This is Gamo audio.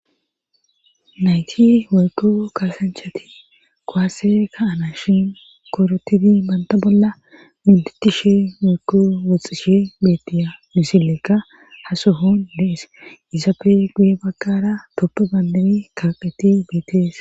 nayti weyko kaasanchati koasi ka ana shin korotidi banta bolla minditi she mekko woxxishe betiya misillekka hasohon lees izappe guye baggara toppo bandabi kaaqeti beetees.